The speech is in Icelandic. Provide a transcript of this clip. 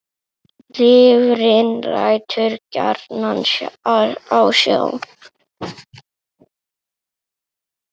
Lifrin lætur gjarnan á sjá.